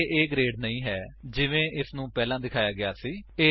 ਇਹ A grade ਨਹੀਂ ਹੈ ਜਿਵੇਂ ਇਸਨੂੰ ਪਹਿਲਾਂ ਦਿਖਾਇਆ ਗਿਆ ਸੀ